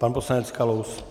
Pan poslanec Kalous.